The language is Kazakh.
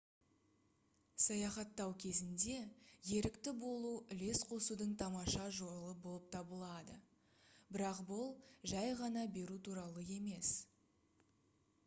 саяхаттау кезінде ерікті болу үлес қосудың тамаша жолы болып табылады бірақ бұл жай ғана беру туралы емес